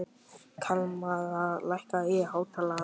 Kalmara, lækkaðu í hátalaranum.